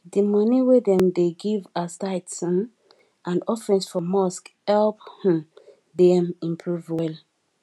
d moni wey dem dey give as tithes um and offering for mosque help um dem improve well